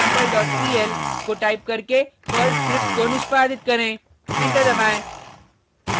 को टाइप करके स्क्रिप्ट को निष्पादित करें एंटर दबाएँ